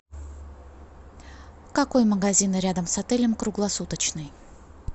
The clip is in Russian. какой магазин рядом с отелем круглосуточный